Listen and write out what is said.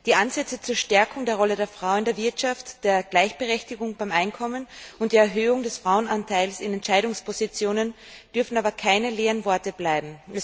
Die Ansätze zur Stärkung der Rolle der Frau in der Wirtschaft, zur Gleichberechtigung beim Einkommen und zur Erhöhung des Frauenanteils in Entscheidungspositionen dürfen aber keine leeren Worte bleiben.